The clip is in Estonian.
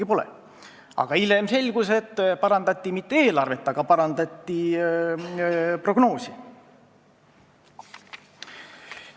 Ja mõni aeg veel hiljem selgus, et ei parandatud eelarvet, vaid parandati prognoosi.